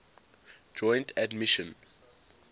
joint admission